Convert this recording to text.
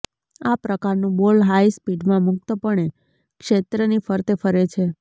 આ પ્રકારનું ball high સ્પીડમાં મુક્તપણે ક્ષેત્રની ફરતે ફરે છે